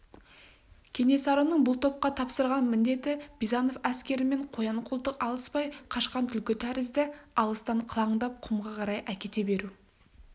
кенесарының бұл топқа тапсырған міндеті бизанов әскерімен қоян-қолтық алыспай қашқан түлкі тәрізді алыстан қылаңдап құмға қарай әкете беру